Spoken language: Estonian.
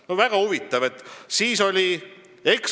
No väga huvitav!